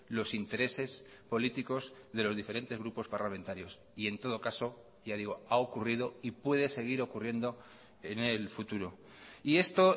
los intereses políticos de los diferentes grupos parlamentarios y en todo caso ya digo ha ocurrido y puede seguir ocurriendo en el futuro y esto